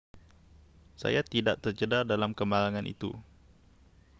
zayat tidak tercedera dalam kemalangan itu